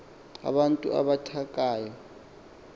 abantu abatha kathayo